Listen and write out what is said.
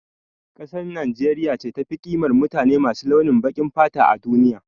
Kasar Nijeriya ce tafi ƙimar mutane masu launin baƙin fata a duniya